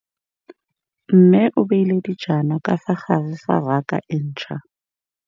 Mmê o beile dijana ka fa gare ga raka e ntšha.